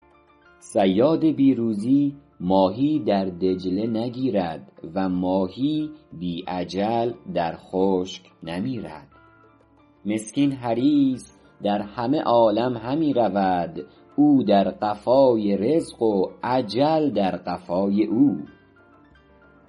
صیاد بی روزی ماهی در دجله نگیرد و ماهی بی اجل در خشک نمیرد مسکین حریص در همه عالم همی رود او در قفای رزق و اجل در قفای او